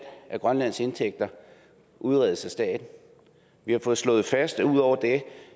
af grønlands indtægter udredes af staten vi har fået slået fast at ud over det